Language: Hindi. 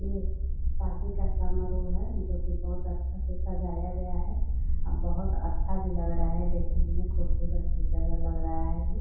ये शादी का समारोह है जो की बहुत अच्छा से सजाया गया है बहुत अच्छा भी लग रहा है देखने में खूबसूरत भी जगह लग रहा है ये।